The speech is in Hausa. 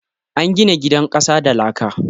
An gina gidan ƙasa da laka